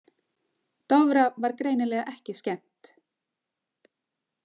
Dofra var greinilega ekki skemmt.